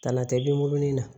Ka na tɛmun na